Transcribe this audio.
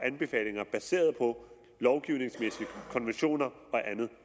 anbefalinger baseret på lovgivningsmæssige konventioner og andet